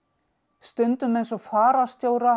stundum eins og fararstjóra